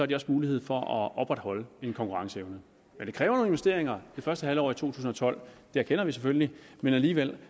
de også mulighed for at opretholde en konkurrenceevne men det kræver nogle investeringer det første halvår af to tusind og tolv det erkender vi selvfølgelig men alligevel